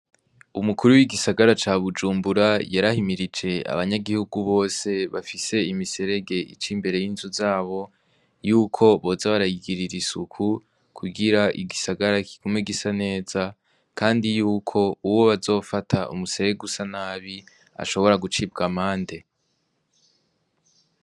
Umukuru w'igisagara ca Bujumbura yarahimirije abanyagihugu bose bafise imiserege ica imbere y'inzu zabo yuko boza barayigirira isuku, kugira igisagara kigume gisa neza, kandi yuko uwo bazofata umuserege usa nabi ashobora gucibwa amande.